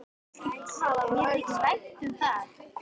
Og mér þykir vænt um það.